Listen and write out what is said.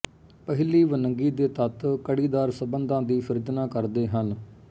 ਪਹਿਲੀ ਵੰਨਗੀ ਦੇ ਤੱਤ ਕੜੀਦਾਰ ਸੰਬੰਧਾਂ ਦੀ ਸਿਰਜਣਾ ਕਰਦੇ ਹਨ